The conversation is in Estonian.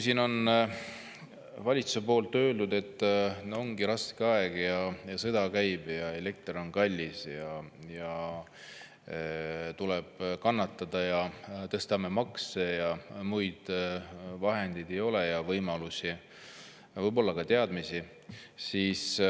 Valitsus on öelnud, et ongi raske aeg, sõda käib, elekter on kallis ja tuleb kannatada, me tõstame makse, sest muid vahendeid, võimalusi ja võib-olla ka teadmisi ei ole.